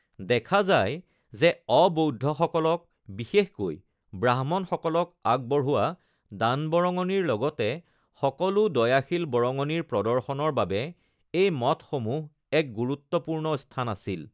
দেখা যায় যে অ-বৌদ্ধসকলক (বিশেষকৈ ব্ৰাহ্মণসকলক) আগবঢ়োৱা দান-বৰঙণিৰ লগতে সকলো দয়াশীল বৰঙণিৰ প্ৰদৰ্শনৰ বাবে এই মঠসমূহ এক গুৰুত্বপূৰ্ণ স্থান আছিল।